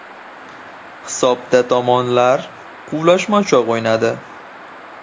Hisobda tomonlar quvlashmachoq o‘ynadi.